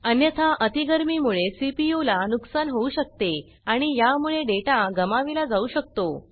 अन्यथा अती गरमि मुळे सीपीयू ला नुकसान होऊ शकते आणि या मुळे डेटा गमाविला जाऊ शकतो